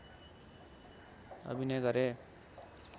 अभिनय गरे